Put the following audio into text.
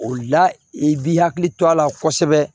O la i b'i hakili to a la kosɛbɛ